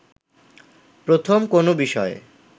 প্রথম কোনো বিষয়ে